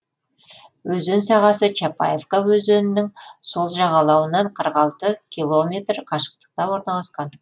өзен сағасы чапаевка өзенінің сол жағалауынан қырық алты километр қашықтықта орналасқан